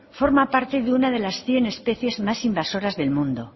forma parte de una de las cien especies más invasoras del mundo